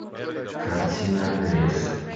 картина лес